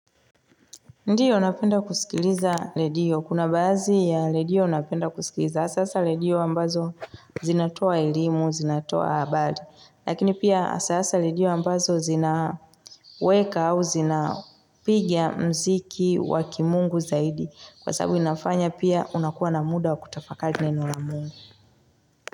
Ndiyo unapenda kusikiliza redio. Kuna badhi ya lediyo unapenda kusikiliza. Hasasa redio ambazo zinatoa elimu, zinatoa habari. Lakini pia hasasa redio ambazo zina weka au zina piga mziki wakimungu zaidi. Kwa sababu inafanya pia unakuwa na muda wakutafakali neno la mungu.